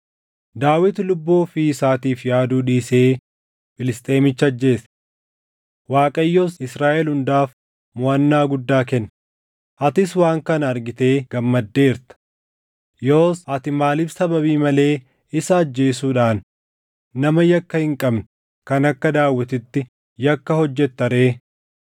Daawit lubbuu ofii isaatiif yaaduu dhiisee Filisxeemicha ajjeese. Waaqayyos Israaʼel hundaaf moʼannaa guddaa kenne; atis waan kana argitee gammaddeerta. Yoos ati maaliif sababii malee isa ajjeesuudhaan nama yakka hin qabne kan akka Daawititti yakka hojjetta ree?”